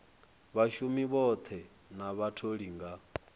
vhashumi vhoṱhe na vhatholi nga